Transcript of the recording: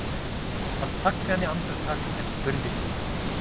Hann þagnaði andartak en spurði síðan